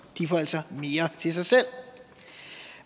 de får altså mere til sig selv